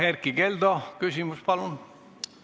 Erkki Keldo, küsimus, palun!